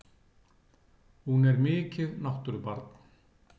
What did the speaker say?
Hún er mikið náttúrubarn!